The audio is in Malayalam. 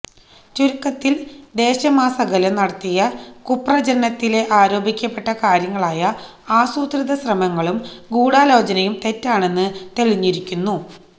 ചുരുക്കത്തില് ദേശമാസകലം നടത്തിയ കുപ്രചരണത്തിലെ ആരോപിക്കപ്പെട്ട കാര്യങ്ങളായ ആസൂത്രിത ശ്രമങ്ങളും ഗൂഢാലോചനയും തെറ്റാണെന്ന് തെളിഞ്ഞിരിക്കുന്നു